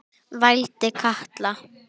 vældi Kata.